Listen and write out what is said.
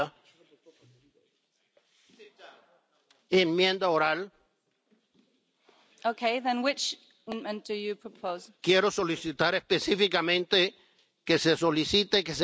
Quiero solicitar específicamente que se solicite que se garantice, además en la Resolución, la vida de los diputados legítimamente electos en la Asamblea Nacional de Venezuela.